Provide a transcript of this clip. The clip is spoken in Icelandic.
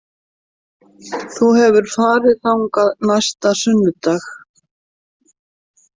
Þú hefur farið þangað næsta sunnudag.